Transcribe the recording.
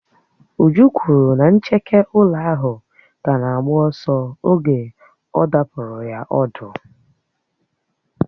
Uju kwuru na ncheke ụlọ ahụ ka na-agba ọsọ oge ọ̀ dàpuru ya ọ̀dú